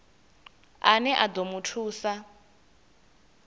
ane a ḓo mu thusa